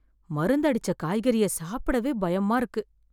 மருந்து அடிச்ச காய்கறியை சாப்பிடவே பயமா இருக்கு